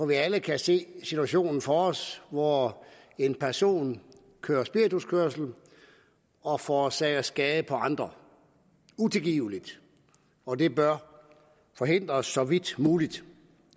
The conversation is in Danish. vi alle kan se situationen for os hvor en person kører spirituskørsel og forårsager skade på andre utilgiveligt og det bør forhindres så vidt muligt